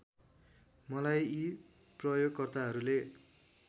मलाई यी प्रयोगकर्ताहरूले